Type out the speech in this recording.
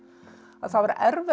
að það var erfiðara